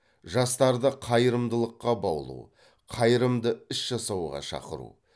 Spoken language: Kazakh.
жастарды қайырымдылыққа баулу қайырымды іс жасауға шақыру